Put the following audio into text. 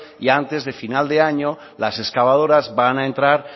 y antes de final de año las excavadoras van a entrar